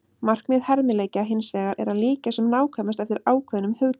Markmið hermileikja hins vegar er að líkja sem nákvæmast eftir ákveðnum hugtökum.